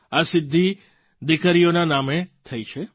આ સિદ્ધિ દીકરીઓનાં નામે થઈ છે